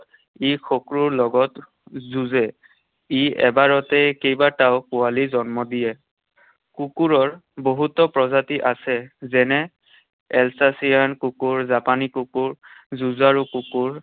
ই শত্ৰুৰ লগত যুঁজে। ই এবাৰতে কেইবাটাও পোৱালী জন্ম দিয়ে। কুকুৰৰ বহুতো প্ৰজাতি আছে। যেনে Alsatian কুকুৰ, জাপানী কুকুৰ, যুঁজাৰু কুকুৰ